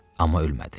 Amma ölmədi.